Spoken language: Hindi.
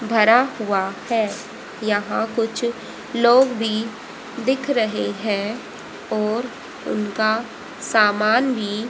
भरा हुआ है यहां कुछ लोग भी दिख रहे हैं और उनका सामान भी।